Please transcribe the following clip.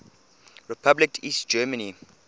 republic east germany